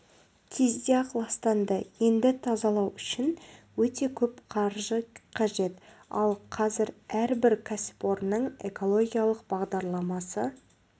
кезде-ақ ластанды енді тазалау үшін өте көп қаржы қажет ал қазір әрбір кәсіпорынның экологиялық бағдарламасы